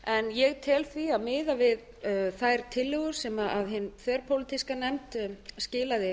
ég tel því að miðað við þær tillögur sem hin þverpólitíska nefnd skilaði